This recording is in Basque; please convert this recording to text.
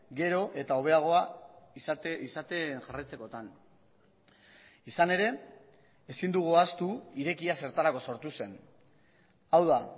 gero eta hobeagoa izaten jarraitzekotan izan ere ezin dugu ahaztu irekia zertarako sortu zen hau da